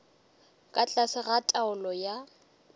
ka tlase ga taolo ya